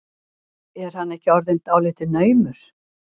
Er hann ekki orðinn dálítið naumur?